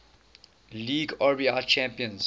league rbi champions